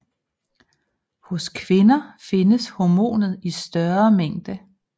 Hos kvinder findes hormonet i større mængde